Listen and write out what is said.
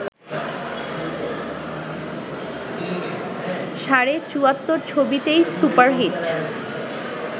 সাড়ে চুয়াত্তর ছবিতেই সুপারহিট